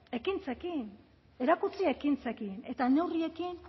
ekintzekin erakutsi ekintzekin eta neurriekin